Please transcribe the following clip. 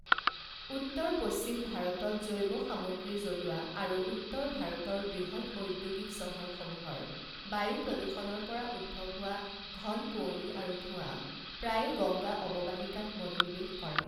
উত্তৰ পশ্চিম ভাৰতত জৈৱ সামগ্ৰী জ্বলোৱা আৰু উত্তৰ ভাৰতৰ বৃহৎ ঔদ্যোগিক চহৰসমূহৰ বায়ু প্ৰদূষণৰ পৰা উদ্ভৱ হোৱা ঘন কুঁৱলী আৰু ধোঁৱা প্ৰায়ে গঙ্গা অৱবাহিকাত মনোনিবেশ কৰে।